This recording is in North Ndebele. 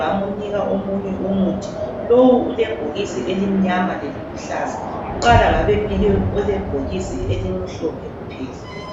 bamnike omunye umuthi lowu ulebhokisi elimnyama lelibuhlaza kuqala babemlike elimhlophe kuphela.